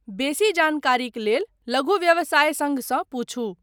बेसी जानकारीक लेल लघु व्यवसाय सङ्घसँ पुछू।